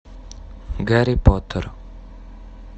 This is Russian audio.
гарри поттер